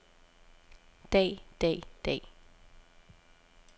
dag dag dag